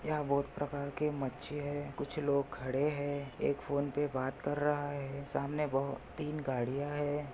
यहा बोहत प्रकार के मच्छी है कुछ लोग खड़े है एक फोन पे बात कर रहा है सामने बोहोत तीन गड़िया है।